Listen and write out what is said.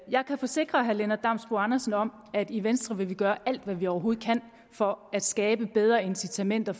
jeg kan forsikre herre lennart damsbo andersen om at vi i venstre vil gøre alt hvad vi overhovedet kan for at skabe bedre incitamenter